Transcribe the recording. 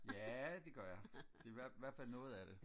ja det gør jeg i hvertfald noget af det